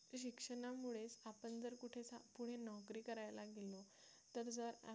ते शिक्षणामुळेच आपण जर कुठे पुढे नोकरी करायला गेलो तर जर आपण